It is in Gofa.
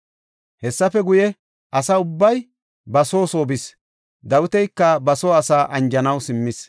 Hessafe guye asa ubbay ba soo soo bis. Dawitika ba soo asaa anjanaw simmis.